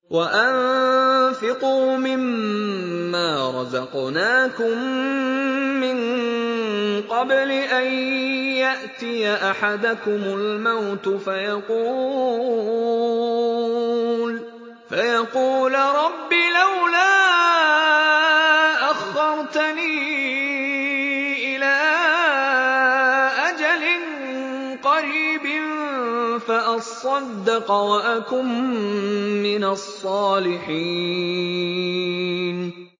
وَأَنفِقُوا مِن مَّا رَزَقْنَاكُم مِّن قَبْلِ أَن يَأْتِيَ أَحَدَكُمُ الْمَوْتُ فَيَقُولَ رَبِّ لَوْلَا أَخَّرْتَنِي إِلَىٰ أَجَلٍ قَرِيبٍ فَأَصَّدَّقَ وَأَكُن مِّنَ الصَّالِحِينَ